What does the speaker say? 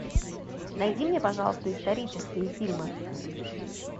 найди мне пожалуйста исторические фильмы